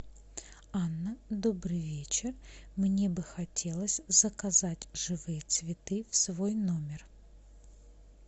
анна добрый вечер мне бы хотелось заказать живые цветы в свой номер